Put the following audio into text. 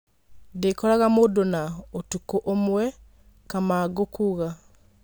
Ndĩkoraga mũndũna ũtukũũmwe',' Kamangũkuuga.